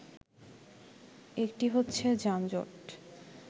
একটি হচ্ছে যানজট